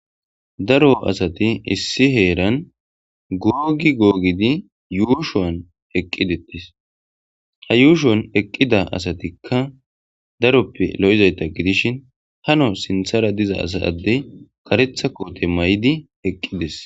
Daro asati issi heeran googi googidi yuushowan eqqidettis ha yuushon eqqida asatikka daroppe lo'izayta gidishin hano sinthara diza asa adde karetha koote may'di eqqides.